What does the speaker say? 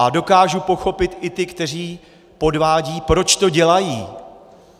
A dokážu pochopit i ty, kteří podvádějí, proč to dělají.